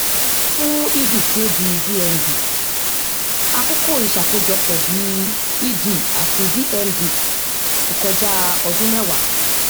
fún ed tí ó di dmd àkókò ìṣákojọpọ bí ed àti dmd kò kọjá ọdún mẹwàá